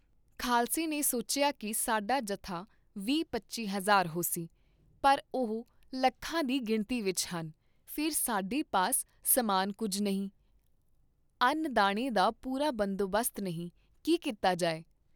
ਖਾਲਸੇ ਨੇ ਸੋਚਿਆ ਕੀ ਸਾਡਾ ਜਥਾ ਵੀਹ ਪੰਝੀ ਹਜ਼ਾਰ ਹੋਸੀ, ਪਰ ਓਹ ਲੱਖਾਂ ਦੀ ਗਿਣਤੀ ਵਿਚ ਹਨ, ਫੇਰ ਸਾਡੇ ਪਾਸ ਸਾਮਾਨ ਕੁੱਝ ਨਹੀਂ, ਅੰਨ ਦਾਣੇ ਦਾ ਪੂਰਾ ਬੰਦੋਬਸਤ ਨਹੀਂ, ਕੀ ਕੀਤਾ ਜਾਏ?